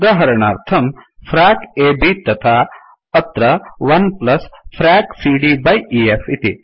उदाहरणार्थं frac ab तथा अत्र 1frac सीडी बाय ईएफ इति